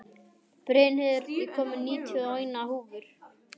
Brynheiður, ég kom með níutíu og eina húfur!